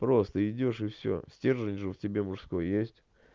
просто идёшь и всё стержень же в тебя мужской есть